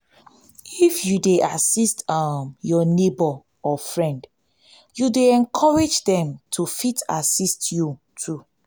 if you de assist um your neighbor or friend you de encourage dem to fit assit you too